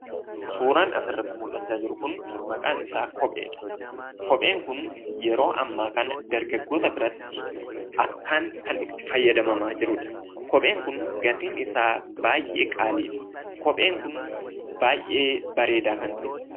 Suuraan asirratti mullachaa jiru kun maqaan isaa kopheedha. Kopheen kun yeroo ammaa dargaggoota biratti akkaan kan itti fayyadamamaa jiruudha. Kopheen kun gatiin isaa baay'ee qaaliidha. Kopheen kun baay'ee bareedaa kan ta'eedha.